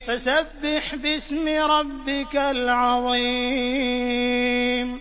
فَسَبِّحْ بِاسْمِ رَبِّكَ الْعَظِيمِ